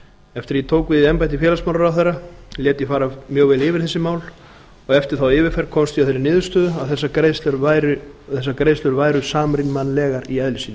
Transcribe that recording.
eftir að ég tók við embætti félagsmálaráðherra lét ég fara mjög vel yfir þessi mál og eftir þá yfirferð komst ég að þeirri niðurstöðu að þessar greiðslur væru samrýmanlegar í eðli sínu